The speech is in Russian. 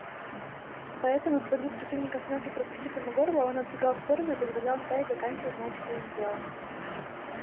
поэтому свалив противника с ног и прокусив ему горло он отбегал в сторону и позволял стае доканчивать начатое им дело